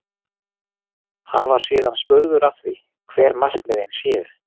Hann var síðan spurður að því, hver markmiðin séu?